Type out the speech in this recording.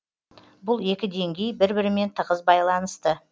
бұл екі деңгей бір бірімен тығыз байланысты